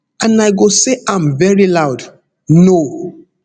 and i go say am veri loud no